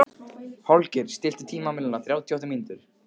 Holgeir, stilltu tímamælinn á þrjátíu og átta mínútur.